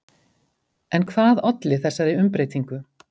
En hvað olli þessari umbreytingu?